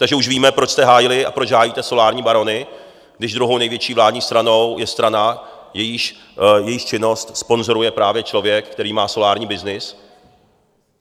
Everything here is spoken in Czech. Takže už víme, proč jste hájili a proč hájíte solární barony, když druhou největší vládní stranou je strana, jejíž činnost sponzoruje právě člověk, který má solární byznys.